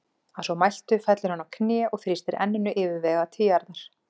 Að svo mæltu fellur hann á kné og þrýstir enninu yfirvegað til jarðar.